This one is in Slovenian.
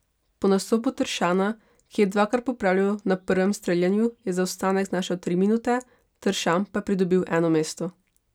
Po nastopu Tršana, ki je dvakrat popravljal na prvem streljanju, je zaostanek znašal tri minute, Tršan pa je pridobil eno mesto.